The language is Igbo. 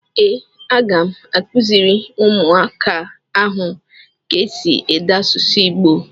Ee, a ga m akuziri umuaka ahụ ka esi ede asusu igbo.